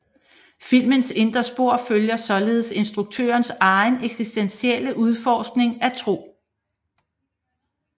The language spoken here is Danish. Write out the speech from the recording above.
Filmens indre spor følger således instruktørens egen eksistentielle udforskning af tro